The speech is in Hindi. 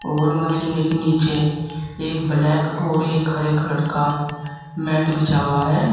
और मशीनें के नीचे एक ब्लैक और एक हरे कलर का मैट बिछा हुआ है।